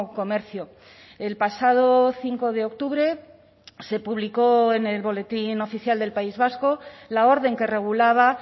comercio el pasado cinco de octubre se publicó en el boletín oficial del país vasco la orden que regulaba